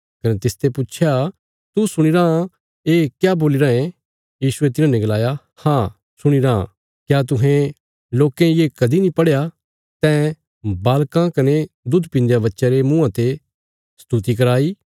कने तिसते पुच्छया तू सुणीराँ ये क्या बोल्ली राँये यीशुये तिन्हाने गलाया हाँ सुणीराँ क्या तुहें लोकें ये कदीं नीं पढ़या तैं बालकां कने दुध पीन्दे बच्चयां रे मुँआं ते स्तुति कराई